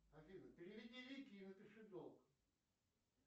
афина переведи вике и напиши долг